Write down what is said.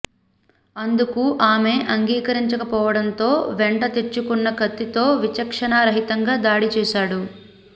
అందుకు ఆమె అంగీకరించకపోవడంతో వెంట తెచ్చుకున్న కత్తితో విచక్షణా రహితంగా దాడి చేశాడు